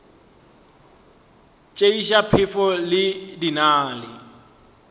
tšeiša phefo di na le